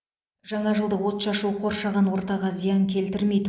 жаңа жылдық отшашу қоршаған ортаға зиян келтірмейді